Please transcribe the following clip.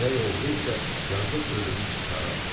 Zirək oğru isə yazıq ölünü içəri atdı.